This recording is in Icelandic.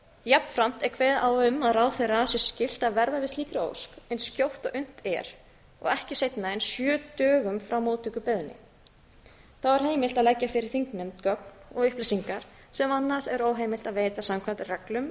jafnframt er kveðið á um að ráðherra sé skylt að verða við slíkri ósk eins skjótt og unnt er og ekki seinna en sjö dögum frá móttöku beiðni þá er heimilt að leggja fyrir þingnefnd gögn og upplýsingar sem annars er óheimilt að veita samkvæmt reglum